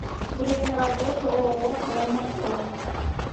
время работы ооо прайм авто